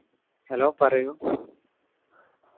hello പറയു